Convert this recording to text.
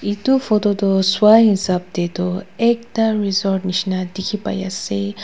etu photo toh sua hesab te toh ekta resort jisna dekhi pai ase.